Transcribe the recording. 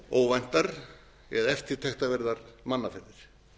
óvæntar eða eftirtektarverðar mannaferðir